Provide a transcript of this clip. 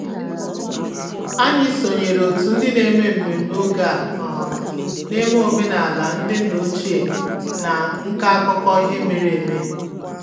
Anyị sonyeere otu ndị na-eme mmemme oge a um na-eme omenala ndị nna ochie na nka akụkọ ihe mere eme